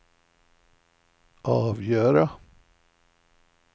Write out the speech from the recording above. avgöra